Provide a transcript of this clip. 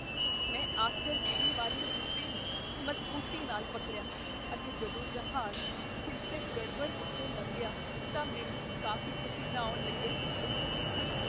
ਮੈਂ ਆਸਰ ਦੇਣ ਵਾਲੇ ਹਿੱਸੇ ਨੂੰ ਮਜ਼ਬੂਤੀ ਨਾਲ ਪਕੜਿਆ ਅਤੇ ਜਦੋਂ ਜਹਾਜ਼ ਹਿੰਸਕ ਗੜਬੜ ਵਿੱਚੋਂ ਲੰਘਿਆ ਤਾਂ ਮੈਨੂੰ ਕਾਫ਼ੀ ਪਸੀਨਾ ਆਉਣ ਲੱਗਿਆ।